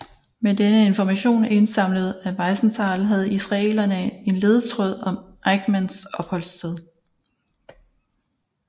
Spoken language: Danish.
Med denne information indsamlet af Wiesenthal havde israelerne en ledetråd om Eichmanns opholdssted